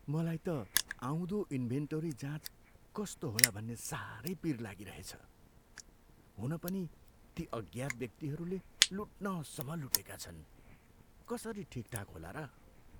मलाई त आउँदो इन्भेन्टोरी जाँच कस्तो होला भन्ने साह्रै पिर लागिरहेछ। हुन पनि ती अज्ञात व्यक्तिहरूले लुट्नसम्म लुटेका छन्। कसरी ठिकठाक होला र?